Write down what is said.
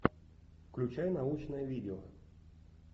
включай научное видео